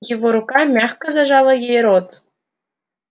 его рука мягко зажала ей рот